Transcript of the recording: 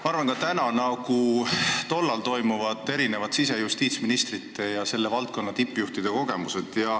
Ma arvan, et ka praegu toimuvad, nii nagu toimusid tollal, siseministri ja justiitsministri ning selle valdkonna tippjuhtide kogunemised.